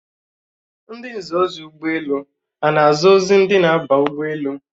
Ndi nza ozi ọdụ ụgbọelu a na-aza ozi ndị na-aba ụgbọelu?